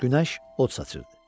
Günəş od saçırdı.